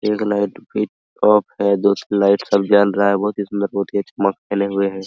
एक light peacock है जो लाइट सब जल रहा है बोहत ही अच्छा बहुत ही सुंदर हुए है।